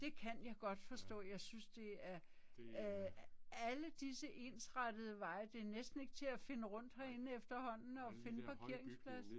Det kan jeg godt forstå, jeg synes det er øh alle disse ensrettede veje det er næsten ikke til at finde rundt herinde efterhånden og finde en parkeringsplads